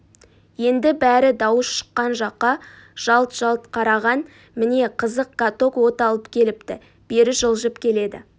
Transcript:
енді бәрі дауыс шыққан жаққа жалт-жалт қараған міне қызық каток от алып кетіпті бері жылжып келеді